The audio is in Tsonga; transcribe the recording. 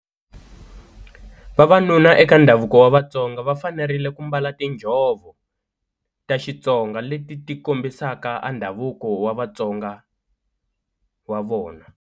Vavanuna eka ndhavuko wa Vatsonga va fanerile ku mbala tinjhovo ta Xitsonga leti ti kombisaka a ndhavuko wa Vatsonga wa vona.